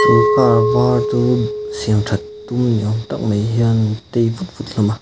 car var chu siamthat tum ni awm tak mai hian an tei vut vut hlawm a.